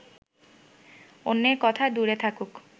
অন্যের কথা দূরে থাকুক